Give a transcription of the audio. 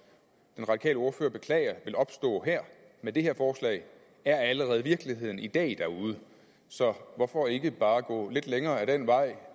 den radikale ordfører beklager vil opstå her med det her forslag er allerede virkeligheden i dag derude så hvorfor ikke bare gå lidt længere ad den vej